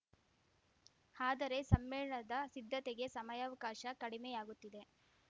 ಆದರೆ ಸಮ್ಮೇಳನದ ಸಿದ್ಧತೆಗೆ ಸಮಯಾವಕಾಶ ಕಡಿಮೆಯಾಗುತ್ತಿದೆ